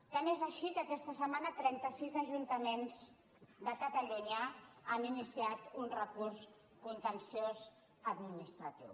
tant és així que aquesta setmana trentasis ajuntaments de catalunya han iniciat un recurs contenciós administratiu